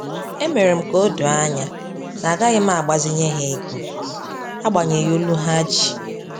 E mere m ka odo anya na agaghị m agbazinye ha ego, agbanyeghi olu ha ji